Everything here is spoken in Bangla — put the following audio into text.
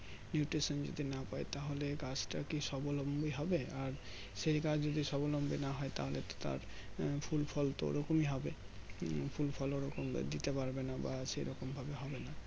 Nutrition যদি না পাই তাহলে গাছটা কি সাবলম্বী হবে আর সেই গাছ যদি সাবলম্বী না হয় তাহলে তো তার ফুল ফল তো ওই রকমই হবে উম ফুল ফল ওই রকম ভাবে দিতে পারবে না বা সেই রকম ভাবে না